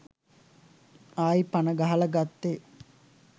ආයි පන ගහල ගත්තෙ